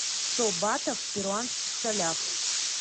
сто батов в перуанских солях